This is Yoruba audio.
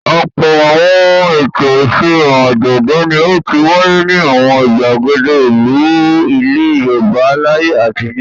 Ọ̀pọ̀ àwọn ètò, ìfihàn, àjọ̀dún ni ó ti wáyé ní àwọn ìgbàgede ìlú ilẹ̀ Yorùbá láyé àtijọ́.